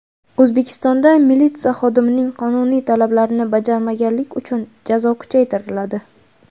O‘zbekistonda militsiya xodimining qonuniy talablarini bajarmaganlik uchun jazo kuchaytiriladi.